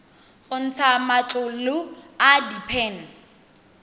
go ntsha matlolo a diphen